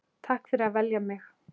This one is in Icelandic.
Takk fyrir að velja mig.